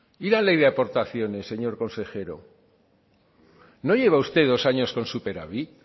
y la ley de aportaciones señor consejero no lleva usted dos años con superávit